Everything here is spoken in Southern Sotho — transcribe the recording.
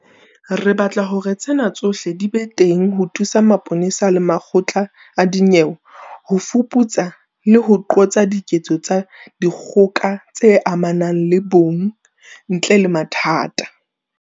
Re batla hore tsena tsohle di be teng ho thusa mapolesa le makgotla a dinyewe ho fuputsa le ho qosa diketso tsa dikgoka tse amanang le bong ntle le mathata.